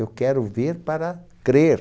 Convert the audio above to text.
Eu quero ver para crer.